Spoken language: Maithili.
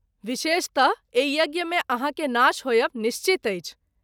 बिशेषत: एहि यज्ञ मे आहाँ के नाश होएब निश्चित अछि।